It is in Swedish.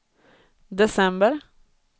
december